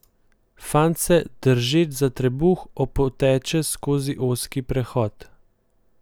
Fant se, držeč se za trebuh, opoteče skozi ozki prehod.